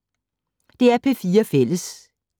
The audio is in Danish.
DR P4 Fælles